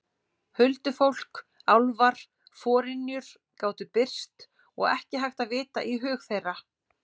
Huldufólk, álfar, forynjur gátu birst og ekki hægt að vita í hug þeirra.